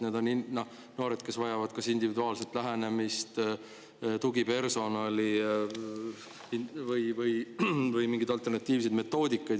Need on noored, kes vajavad kas individuaalset lähenemist, tugipersonali või mingeid alternatiivseid meetodeid.